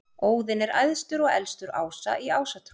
Óðinn er æðstur og elstur ása í Ásatrú.